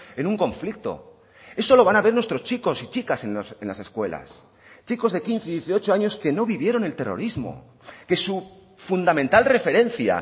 en un conflicto eso lo van a ver nuestros chicos y chicas en las escuelas chicos de quince y dieciocho años que no vivieron el terrorismo que su fundamental referencia